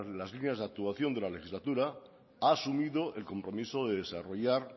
las líneas de actuación de la legislatura ha asumido el compromiso de desarrollar